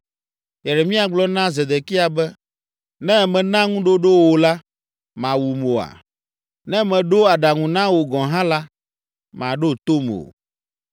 Yeremia gblɔ na Zedekia be, “Ne mena ŋuɖoɖo wò la, màwum oa? Ne meɖo aɖaŋu na wò gɔ̃ hã la, màɖo tom o.”